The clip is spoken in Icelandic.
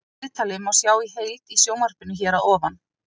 Viðtalið má sjá í heild í sjónvarpinu hér að ofan.